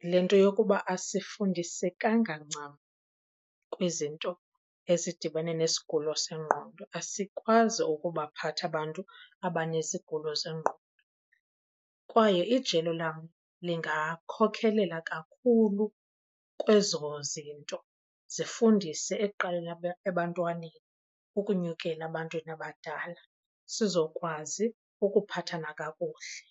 Yile nto yokuba asifundisekanga ncam kwizinto ezidibene nesigulo sengqondo, asikwazi ukubaphatha abantu abanezigulo zengqondo. Kwaye ijelo lam lingakhokhelela kakhulu kwezo zinto, zifundise ekuqaleni ebantwaneni ukunyukela ebantwini abadala sizokwazi ukuphathana kakuhle.